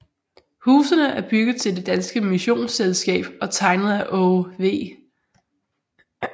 Husene er bygget til Det Danske Missionsselskab og tegnet af Aage V